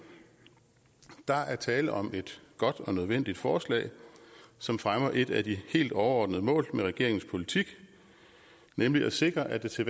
der er tale om et godt og nødvendigt forslag som fremmer et af de helt overordnede mål med regeringens politik nemlig at sikre at det til